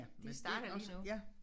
Det starter lige nu